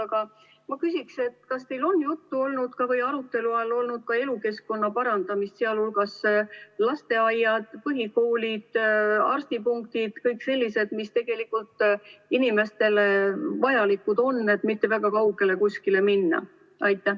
Aga ma küsin, kas teil on olnud arutelu all ka see, mis puudutab elukeskkonna parandamist, sh lasteaiad, põhikoolid, arstipunktid jms, mis on tegelikult inimestele vajalikud, et ei peaks kuhugi väga kaugele minema.